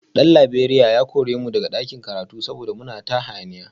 Dan Laberiya ya kore mu daga ɗakin karatu saboda muna ta hayaniya